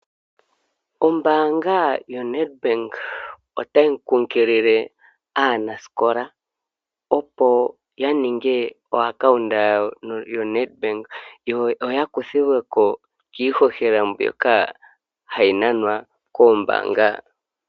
Ombaanga yo NedBank otayi kunkilile aanasikola opo ya ninge oaccount yo NedBank yo ya kuthilwe ko kiihohela mbyoka hayi nanwa koombaanga.